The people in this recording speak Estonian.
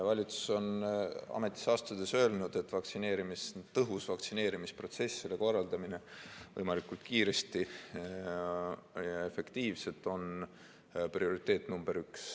Valitsus on ametisse astudes öelnud, et tõhus vaktsineerimisprotsess ja selle korraldamine võimalikult kiiresti ja efektiivselt on prioriteet number üks.